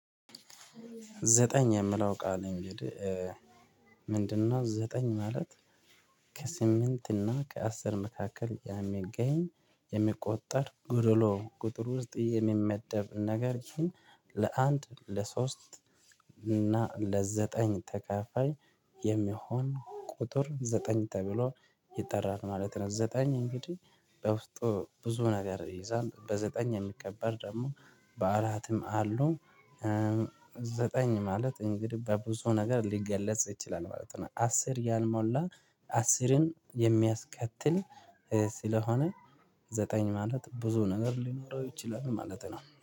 ዘጠኝ የምለው ቃል እንግዲህ ምንድነው? ዘጠኝ ማለት ከስምንት እና ከአስር መካከል ያሚገኝ የሚቆጠር ጉድሎ ቁጥር ውስጥ የሚመደብ ነገር ይህን ለአንድ ለሶስት እና ለዘጠኝ ተከፋይ የሚሆን ቁጥር ዘጠኝ ተብሎ ይጠራል ማለት ነው። ዘጠኝ እንግዲህ በውስጡ ብዙ ነገር ይይዛል በዘጠኝ የሚከበር ደግሞ በአራትም አሉ። ዘጠኝ ማለት እንግዲህ በብዙ ነገር ሊገለጽ ይችላል ማለት ነው። አስር ያልሞላ አስርን የሚያስከትል ስለሆነ ዘጠኝ ማለት ብዙ ነገር ሊኖረው ይችላል ማለት ነው